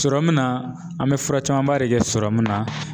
na an be fura camanba de kɛ na